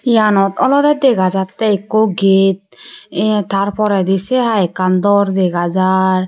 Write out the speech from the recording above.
eyanot olode dega jattey ekko gate ye tar poredi se hai ekkan dor dega jaar.